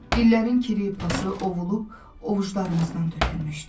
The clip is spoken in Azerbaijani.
İllərin kiri, pası ovulub ovucclarımızdan tökülmüşdü.